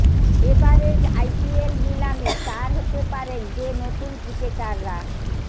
এবারের আইপিএল নিলামে স্টার হতে পারেন যে নতুন ক্রিকেটাররা